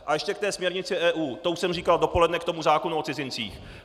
A ještě ke té směrnici EU, to už jsem říkal dopoledne k tomu zákonu o cizincích.